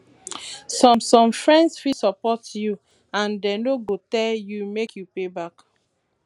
some some friends fit support you and dem no go tell you make you pay back